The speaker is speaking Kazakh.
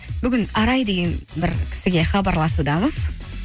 бүгін арай деген бір кісіге хабарласудамыз